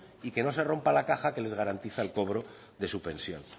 y que no se rompa la caja que les garantiza el cobro de su pensión